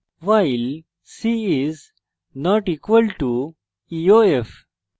while c is not equal to eof